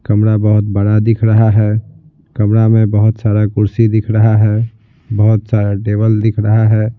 कमरा बहुत बड़ा दिख रहा है कमरा में बहुत सारा कुर्सी दिख रहा है बहुत सारा टेबल दिख रहा है।